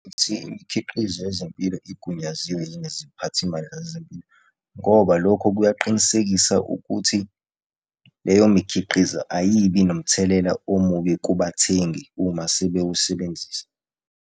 imikhiqizo yezempilo igunyaziwe yini iziphathimandla zezempilo. Ngoba lokho kuyaqinisekisa ukuthi leyo mikhiqizo ayibi nomthelela omubi kubathengi uma sebewusebenzisa.